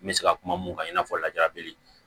N bɛ se ka kuma mun kan i n'a fɔ lajabili